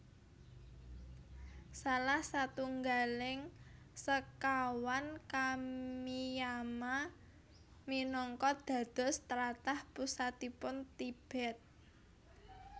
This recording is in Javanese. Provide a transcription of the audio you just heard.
Salah satunggaling sekawan Kamiyama minangka dados tlatah pusatipun Tibet